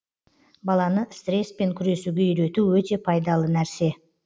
баланы стресспен күресуге үйрету өте пайдалы нәрсе